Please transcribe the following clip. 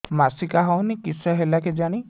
ମାସିକା ହଉନି କିଶ ହେଲା କେଜାଣି